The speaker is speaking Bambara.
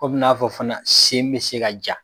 Kɔmi n'a fɔ fana sen be se ka ja.